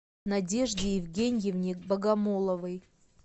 надежде евгеньевне богомоловой